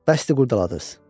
bəsdir qurdaladız!